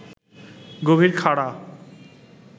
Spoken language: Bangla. গভীর খাড়া